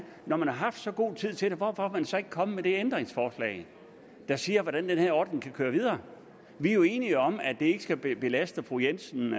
når man har haft så god tid til det hvorfor er man så ikke kommet med det ændringsforslag der siger hvordan den her ordning kan køre videre vi er jo enige om at det ikke skal belaste fru jensen